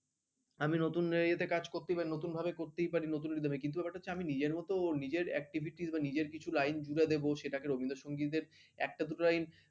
আমি নতুন এতে কাজ করতেই পারি নতুন ভাবে করতেই পারি নতুন rhythm এর কিন্তু ব্যাপারটা হচ্ছে নিজের মতো নিজের activites বা নিজের কিছু লাইন জুড়ে দেবো সেটাকে রবীন্দ্র সংগীতের একটা দুটো লাইন